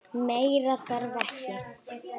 Meira þarf ekki.